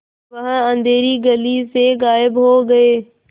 वह अँधेरी गली से गायब हो गए